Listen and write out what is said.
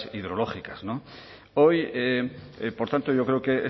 hidrológicas hoy por tanto yo creo que